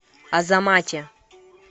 азамате